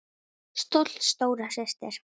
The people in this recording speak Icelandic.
Stolt stóra systir.